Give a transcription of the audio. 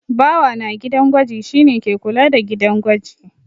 Bawa na gidan gwaji shi ne ke kula da gidan gwaji.